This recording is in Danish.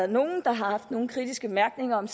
nogen der har haft nogen kritiske bemærkninger om